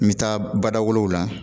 N bɛ taa bada wolow la